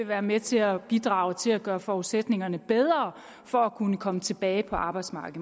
være med til at bidrage til at gøre forudsætningerne for at kunne komme tilbage på arbejdsmarkedet